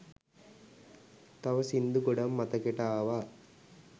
තව සින්දු ගොඩක් මතකෙට ආවා